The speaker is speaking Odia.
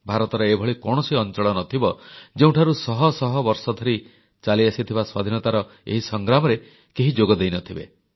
ଭାରତର ଏଭଳି କୌଣସି ଅଂଚଳ ନ ଥିବ ଯେଉଁଠାରୁ ଶହ ଶହ ବର୍ଷ ଧରି ଚାଲିଆସିଥିବା ସ୍ୱାଧୀନତାର ଏହି ସଂଗ୍ରାମରେ କେହି ଯୋଗ ଦେଇନଥିବେ